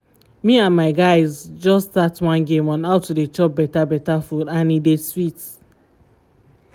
me and my guys just start one game on how to dey chop better better food and e dey sweet